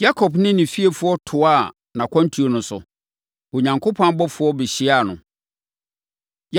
Yakob ne ne fiefoɔ toaa nʼakwantuo no so. Onyankopɔn abɔfoɔ bɛhyiaa no.